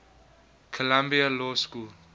columbia law school